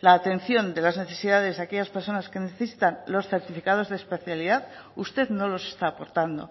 la atención de las necesidades de aquellas personas que necesitan los certificados de especialidad usted no los está aportando